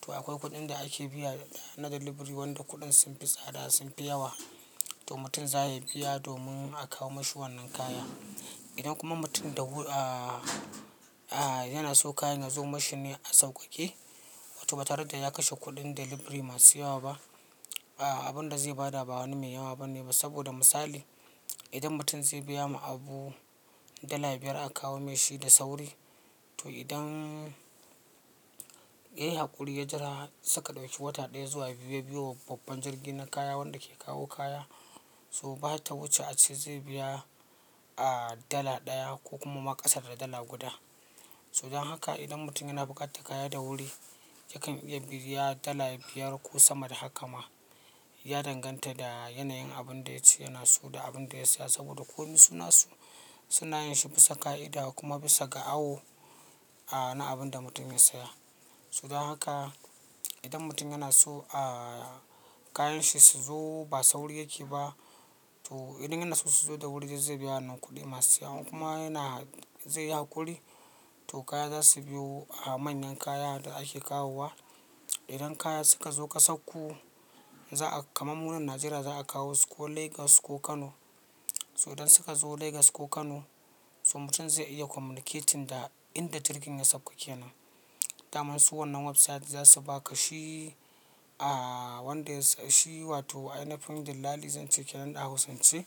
To akwai kuɗin da ake biya na delivery wanda kuɗin sun fi tsada sun fi yawa. To mutum za ya biya domin a kawo mashi wannan kaya. Idan kuma mutum da wu-- a, a yana so kayan ya zo mashi ne a sauƙaƙe wato ba tare da ya kashe kuɗin delivery masu yawa ba, a abun da zai bada ba wani mai yawa bane ba saboda misali, idan mutum zai biya ma abu dala biyar a kawo mashi da sauri, to idan yayi haƙuri ya jira suka ɗauki wata ɗaya zuwa biyu-biyu ya biyo babban jirgi na kaya wanda ke kawo kaya, so bata wuce a ce zai biya a dala ɗaya ko kuma ma ƙasa da dala guda. So dan haka idan mutum yana buƙatar kaya da wuri, yakan iya biya dala biyar ko sama da haka ma. Ya danganta da yanayin abun da ya ci yana so da abin da ya siya saboda ko mu suna so suna yanke bisa ƙa'ida kuma bisa ga awo a na abin da mutum ya siya. So dan haka idan mutum yana so a kayan shi su zo ba sauri yake ba, to idan yana so su zo da wuri zai biya wannan kuɗi masu yawa kuma yana zai yi haƙuri. To kaya za su biyo a manyan kaya da ake kawowa. Idan kaya suka zo ƙasarku, za'a kamar mu nan Najeriya za a kawo su ko Lagos ko Kano. So idan suka zo Lagos ko Kano, so mutum zai iya communicating da inda jirgin ya sauƙa kenan. Daman su wannan website za su baka shi a wanda ya siyi wato a yanayin dillali zan ce kenan ɗa hausance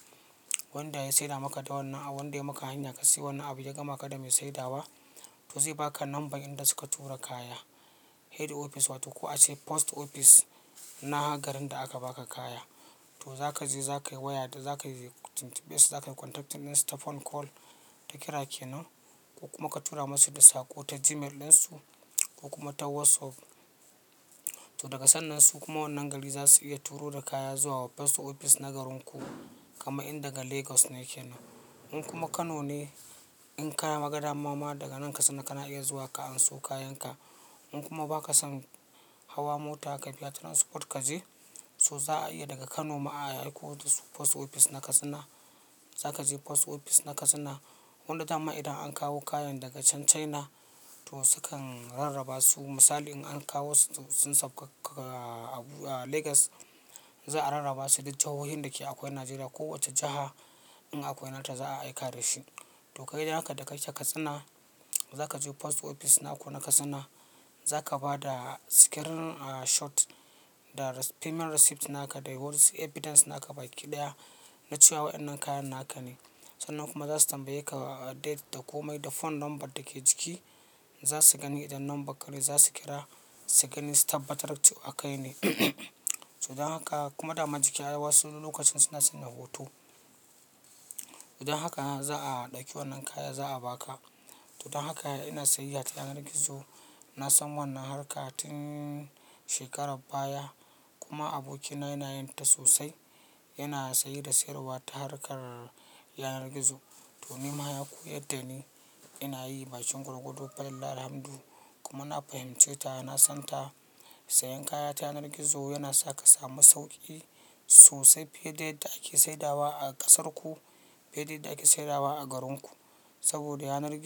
wanda ya saida maka da wannan abu wanda ya maka hanya ka siya wannan abu ya gama ka da mai saidawa. To zai baka number inda suka tura kaya. Head office wato ko a ce post office na garin da aka baka kaya. To za ka je za ka waya da za ka yi, za ka yi contacting ɗin su ta phone call ta kira kenan ko kuma ka tura masu da sako ta Gmail ɗin su ko kuma ta WhatsApp. To daga sannan su kuma wannan gari za su iya turo da kaya zuwa post office na garinku kama in daga Lagos ne kenan. In kuma Kano ne in ka yi magana mama daga nan Katsina kana iya zuwa ka anso kayan ka. In kuma ba ka son hawa mota ka biya ta transport ka je, so za a iya daga Kano ma a aiko da su post office na Katsina. Za ka je post office na Katsina wanda dama idan an kawo kayan daga can China to su kan rarraba su. Misali in an kawo su, sun sauka a Abu-- a Lagos za a rarraba su duk jahohin da ke akwai Najeriya. Ko wace jaha in akwai nata za a aika da shi. To kai idan haka da kai she Katsina, za ka je post office naku na Katsina za ka bada screenshot da payment receipt naka da all evidence naka baƙi ɗaya na cewa wayannan kayan naka ne. Sannan kuma za su tambaye ka date da komai da phone number da ke jiki. Za su gani idan number ka ne za su kira su gani sababbtar cewa kai ne. To dan haka kuma dama jiki a wasu lokacin suna sanya hoto. Idan haka za'a ɗauki wannan kaya za a ba ka. To dan haka ina sayayya ta yanar gizo. Na san wannan harka tin shekarar baya kuma abokina yana yin ta sosai. Yana saye da sayarwa ta harkar yanar gizo to ni ma ya koyar da ni. Ina yi bakin gwargwado falillahil hamdu. Kuma na fahimce ta na son ta. Sayan kaya ta yanar gizo yana sa ka samu sauƙi sosai fiye da yadda ake saida wa a ƙasar ku, fiye da yadda ake saida wa a garin ku. Saboda yanar gizo.